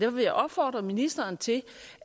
vil jeg opfordre ministeren til